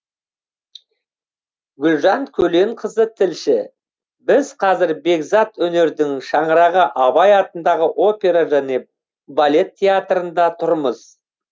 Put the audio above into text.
гүлжан көленқызы тілші біз қазір бекзат өнердің шаңырағы абай атындағы опера және балет театрында тұрмыз